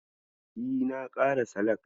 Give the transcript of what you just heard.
E, na ƙara salak.